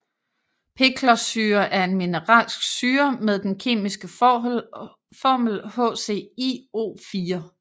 Perklorsyre er en mineralsk syre med den kemiske formel HClO4